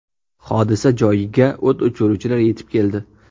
Hodisa joyiga o‘t o‘chiruvchilar yetib keldi.